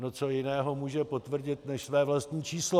No co jiného může potvrdit než své vlastní číslo?